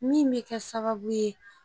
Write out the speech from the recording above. Min bɛ kɛ sababu ye